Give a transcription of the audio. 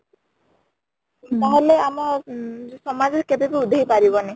ତାହେଲେ ଆମ ଉଁ ସମାଜ କେବେବି ଉଧେଇ ପାରିବନି